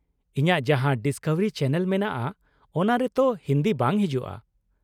ᱤᱧᱟᱹᱜ ᱡᱟᱦᱟᱸ Discovery channel ᱢᱮᱱᱟᱜᱼᱟ ᱚᱱᱟ ᱨᱮ ᱛᱚ ᱦᱤᱱᱫᱤ ᱵᱟᱝ ᱦᱤᱡᱩᱜ -ᱟ ᱾